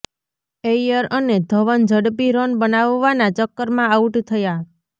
ઐયર અને ધવન ઝડપી રન બનાવવાના ચક્કરમાં આઉટ થયા